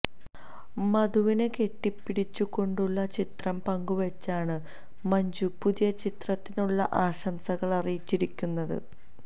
മധുവിനെ കെട്ടിപ്പിടിച്ചുകൊണ്ടുള്ള ചിത്രം പങ്കുവെച്ചാണ് മഞ്ജു പുതിയ ചിത്രത്തിനുള്ള ആശംസകള് അറിയിച്ചിരിക്കുന്നത്